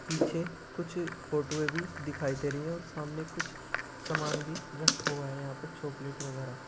पीछे कुछ फोटोएं भी दिखाई दे रही हैं और सामने कुछ सामान भी रखा हुआ है। यहां पे चॉकलेट वगैरा --